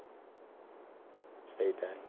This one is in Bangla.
সেইটাই।